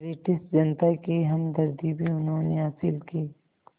British जनता की हमदर्दी भी उन्होंने हासिल की